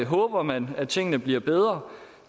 håber man at tingene bliver bedre